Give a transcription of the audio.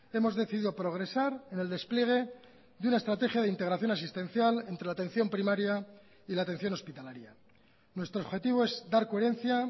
hemos decidido progresar en el despliegue de una estrategia de integración asistencial entre la atención primaria y la atención hospitalaria nuestro objetivo es dar coherencia